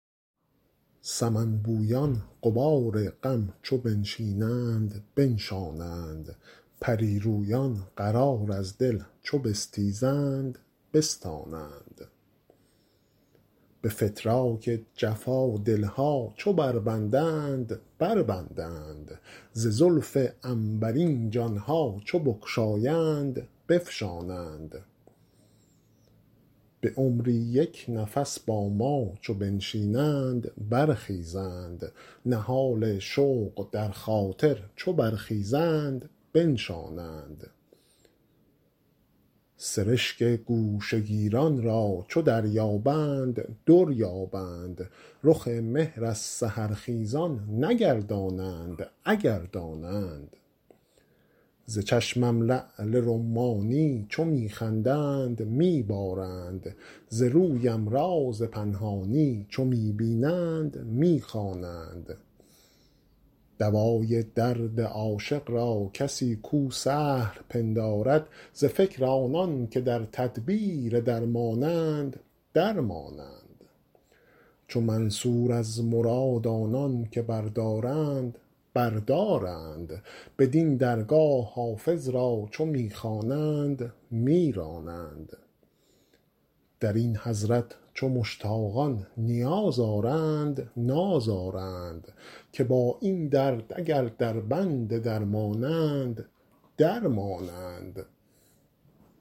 سمن بویان غبار غم چو بنشینند بنشانند پری رویان قرار از دل چو بستیزند بستانند به فتراک جفا دل ها چو بربندند بربندند ز زلف عنبرین جان ها چو بگشایند بفشانند به عمری یک نفس با ما چو بنشینند برخیزند نهال شوق در خاطر چو برخیزند بنشانند سرشک گوشه گیران را چو دریابند در یابند رخ مهر از سحرخیزان نگردانند اگر دانند ز چشمم لعل رمانی چو می خندند می بارند ز رویم راز پنهانی چو می بینند می خوانند دوای درد عاشق را کسی کو سهل پندارد ز فکر آنان که در تدبیر درمانند در مانند چو منصور از مراد آنان که بردارند بر دارند بدین درگاه حافظ را چو می خوانند می رانند در این حضرت چو مشتاقان نیاز آرند ناز آرند که با این درد اگر دربند درمانند در مانند